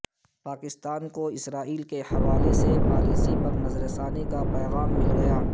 پاکستان کو اسرائیل کے حوالے سے پالیسی پر نظر ثانی کا پیغام مل گیا